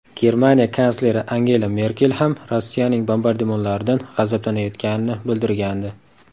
Germaniya kansleri Angela Merkel ham Rossiyaning bombardimonlaridan g‘azablanayotganini bildirgandi .